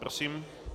Prosím.